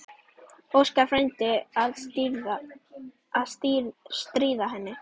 Óskar frændi að stríða henni.